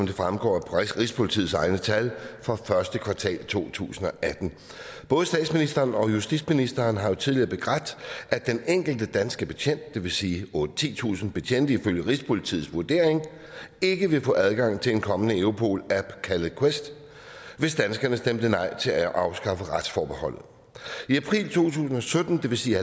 det fremgår af rigspolitiets egne tal for første kvartal to tusind og atten både statsministeren og justitsministeren har jo tidligere begrædt at den enkelte danske betjent det vil sige otte tusind titusind betjente ifølge rigspolitiets vurdering ikke ville få adgang til en kommende europol app kaldet quest hvis danskerne stemte nej til at afskaffe retsforbeholdet i april to tusind og sytten det vil sige